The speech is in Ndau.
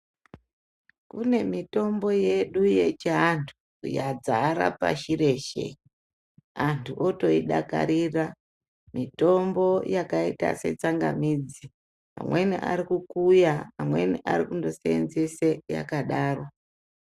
Kune mitombo yedu yechianthu, yadzara pashi reshe. Anthu otoidakarira, mitombo yakaita setsangamidzi. Amweni ari kukuya, amweni ari kundo seenzesa yakadaro.